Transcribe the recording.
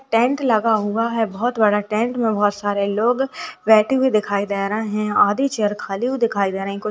tent लगा हुआ है बोहोत बड़ा टेंट में बोहोत सारे लोग बैठे हुए दिखाई दे रहे है और आधी चेयर खली हुई दिखाई दे रही कुछ --